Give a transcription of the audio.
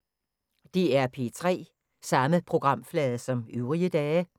DR P3